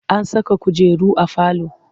An saka kujeru a falo.